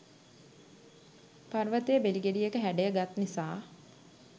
පර්වතය බෙලි ගෙඩියක හැඩය ගත් නිසා ය.